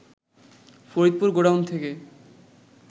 Faridpur godown থেকে